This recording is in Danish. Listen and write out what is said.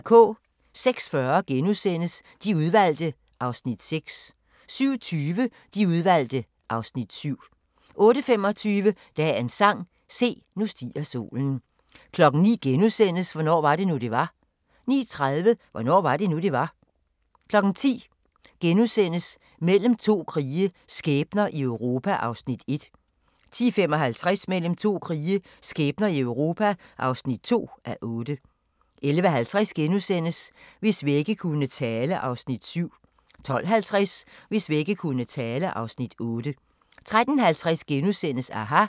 06:40: De Udvalgte (Afs. 6)* 07:20: De Udvalgte (Afs. 7) 08:25: Dagens sang: Se, nu stiger solen 09:00: Hvornår var det nu, det var? * 09:30: Hvornår var det nu, det var? 10:00: Mellem to krige – skæbner i Europa (1:8)* 10:55: Mellem to krige – skæbner i Europa (2:8) 11:50: Hvis vægge kunne tale (Afs. 7)* 12:50: Hvis vægge kunne tale (Afs. 8) 13:50: aHA! *